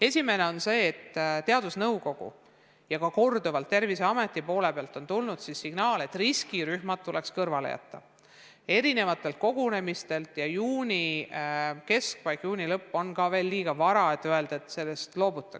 Esiteks ütlen, et teadusnõukojast ja korduvalt ka Terviseametist on tulnud signaal, et riskirühmad tuleks kogunemistelt kõrvale jätta ja juuni keskpaik, juuni lõpp on liiga varased tähtajad sellest loobuda.